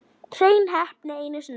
Hrein heppni einu sinni enn.